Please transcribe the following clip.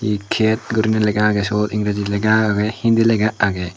iket gurinei lega age sot ingreji lega age hindi lega agey.